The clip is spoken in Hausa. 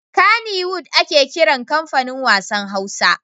Kannywood ne ana kiran comfanin wassan Hausa.